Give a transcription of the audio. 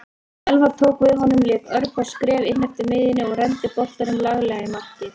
Elfar tók við honum lék örfá skref inneftir miðjunni og renndi boltanum laglega í markið.